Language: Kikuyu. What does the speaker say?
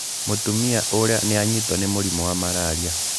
Mũtumia ũrĩa nĩ anyitwo nĩ mũrimũ wa malaria.